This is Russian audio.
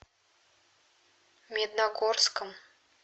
медногорском